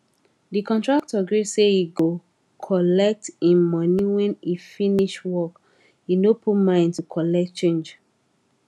the contractor gree say he cgo collect him money when he finish work he no put mind to colet change